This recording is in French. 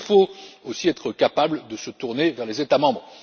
huit. Il faut donc aussi être capable de se tourner vers les États membres.